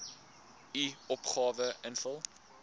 u opgawe invul